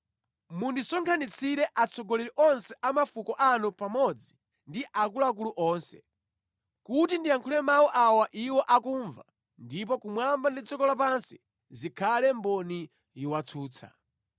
Mundisonkhanitsire atsogoleri onse a mafuko anu pamodzi ndi akuluakulu onse, kuti ndiyankhule mawu awa iwo akumva ndipo kumwamba ndi dziko lapansi zikhale mboni yowatsutsa.